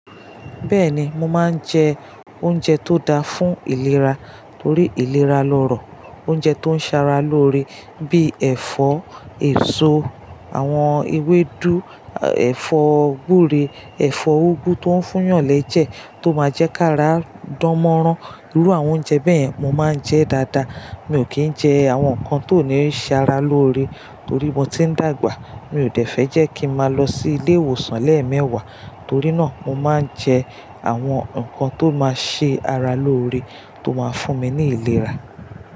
Bẹ́ẹ̀ni, mo máa ń jẹ oúnjẹ tó da fún ìlera torí ìlera lọ́rọ̀. Oúnjẹ tó ń ṣara loore bíi ẹ̀fọ́ èso, àwọn ewédú, ẹ̀fọ́ gúre, ẹ̀fọ́ úgú tó ń fún yànlẹ́ jẹ tó máa jẹ́ ká ra dánmọ́rán. Irú àwọn oúnjẹ bẹ́yẹ̀n mo máa ń jẹ́ dáadáa. Mi ò kì í jẹ àwọn nǹkan tó ní ṣe ara loore torí mo ti ń dàgbà. Mi ò dẹ̀ fẹ́ jẹ́ kí mo máa lọ sí ilé ìwòsàn lẹ́ẹ̀mẹwàá, torí náà mo máa ń jẹ àwọn nǹkan tó máa ṣe ara loore tó máa fún mi ní ìlera.